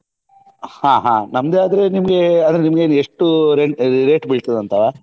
ಹಾ ಹಾ ನಮ್ದೇ ಆದ್ರೆ ನಿಮ್ಗೆ ಆದ್ರೆ ನಿಮ್ಗೆ ಎಷ್ಟು rent rate ಬೀಳ್ತದಂತವಾ?